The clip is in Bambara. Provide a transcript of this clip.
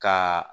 Ka